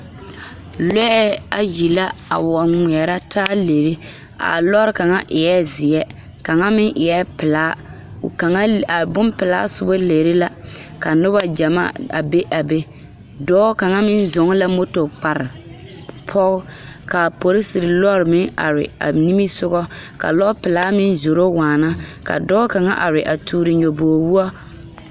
Lɔɛ ayi la a wa ngmeɛrɛ taa lere a lɔre kaŋa eɛɛ zeɛ kaŋa meŋ eɛɛ pilaa kaŋa a bonpilaa sobo lere la ka nobɔ gyamaa a be a be dɔɔ kaŋa meŋ zɔɔ la moto kpare pog ka poriserre lɔre meŋ are ba nimisugɔ ka lɔɔ pilaa meŋ zoro waana ka dɔɔ kaŋa a toore nyobog woɔ.